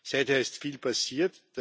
Seither ist viel passiert.